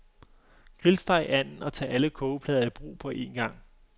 Grillsteg anden og tag alle kogeplader i brug på en gang.